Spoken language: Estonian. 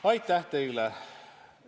Aitäh teile!